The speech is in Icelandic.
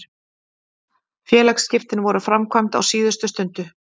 Félagsskiptin voru framkvæmd á síðustu stundu.